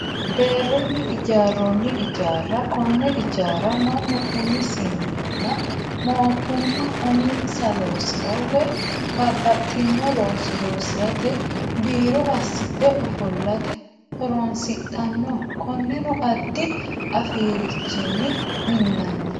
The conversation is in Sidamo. Deerunni ijjaaroonni ijjaara, kone ijjaara manu umisininna mootumma uminsa loosirra woyi babaxinno looso loosirate biiro asidhe ofoollate horonsidhanno konenno adi afirichini minanni